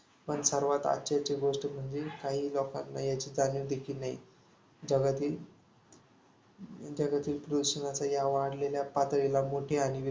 पण आश्चर्याची गोष्ट म्हणजे काही लोकांना याची जाणीवदेखील नाही. जगातील जगातील प्रदूषणाच्या वाढलेल्या पातळीला मोठे आणि